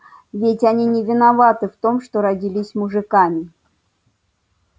ведь они не виноваты в том что родились мужиками